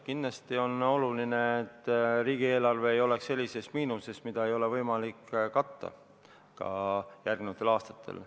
Kindlasti on oluline, et riigieelarve ei oleks sellises miinuses, mida ei ole võimalik katta, ka järgnevatel aastatel.